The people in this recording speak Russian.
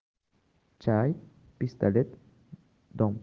чай пистолет дом